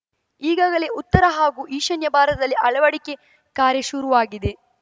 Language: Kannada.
ಈಗಾಗಲೇ ಉತ್ತರ ಹಾಗೂ ಈಶಾನ್ಯ ಭಾರತದಲ್ಲಿ ಅಳವಡಿಕೆ ಕಾರ್ಯ ಶುರುವಾಗಿದೆ